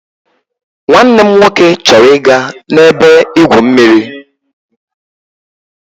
Nwanne m nwoke chọrọ ịga n'ebe-igwụ mmiri.